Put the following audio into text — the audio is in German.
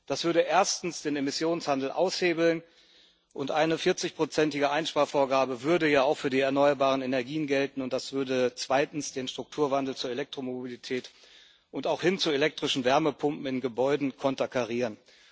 Das würde erstens den Emissionshandel aushebeln, und eine vierzigprozentige Einsparvorgabe würde ja auch für die erneuerbaren Energien gelten, und das würde zweitens den Strukturwandel zur Elektromobilität und auch hin zu elektrischen Wärmepumpen in Gebäuden konterkarieren.